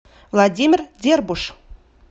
владимир дербуш